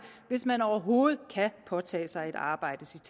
hvis man overhovedet kan påtage sig et arbejde